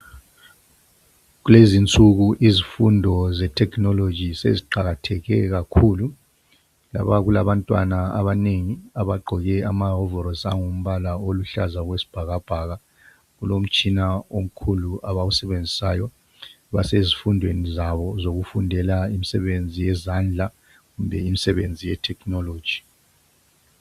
Kulezinsuku izifundo ze technology seziqakatheke kakhulu. Lapha kulabantwana abanengi abagqoke amahovorosi angumbala oluhlaza okwesibhakabhaka. Kulomtshina omkhulu abawusebenzisayo. Basezifundweni zabo zokufundela imsebenzi yezandla kumbe imsebenzi ye technology.